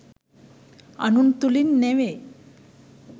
අනුන් තුළින් නෙවෙයි.